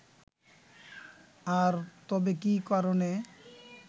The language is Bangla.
আর তবে কি কারণে